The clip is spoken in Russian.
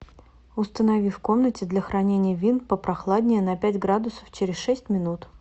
установи в комнате для хранения вин попрохладнее на пять градусов через шесть минут